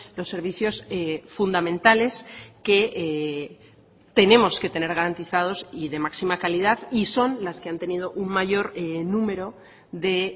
los servicios fundamentales que tenemos que tener garantizados y de máxima calidad y son las que han tenido un mayor número de